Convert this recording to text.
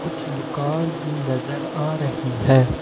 कुछ दुकान भी नजर आ रही है।